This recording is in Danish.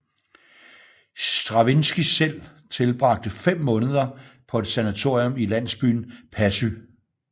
Stravinskij selv tilbragte fem måneder på et sanatorium i landsbyen Passy